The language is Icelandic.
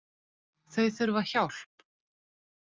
Þau þurfa hjálp